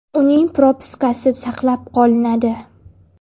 Uning propiskasi saqlab qolinadi.